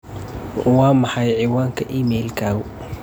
Waa maxay cinwaanka iimaylkaagu?